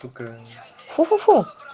сука фу-фу-фу